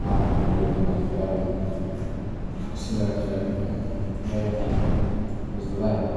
Haa mirooyinka masduulaagii, oo sidoo kale loo yaqaan “masduulaay,” waa